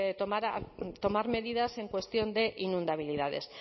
tomar medidas en cuestión de inundabilidades